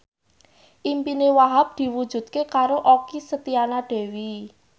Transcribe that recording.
impine Wahhab diwujudke karo Okky Setiana Dewi